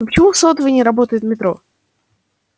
ну почему сотовые не работают в метро